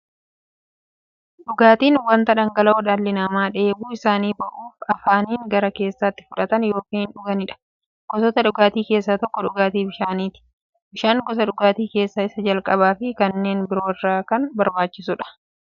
Dhugaatiin wanta dhangala'oo dhalli namaa dheebuu isaanii ba'uuf, afaaniin gara keessaatti fudhatan yookiin dhuganiidha. Gosoota dhugaatii keessaa tokko dhugaatii bishaaniti. Bishaan gosa dhugaatii keessaa isa jalqabaafi kanneen biroo irra kan barbaachisuudha.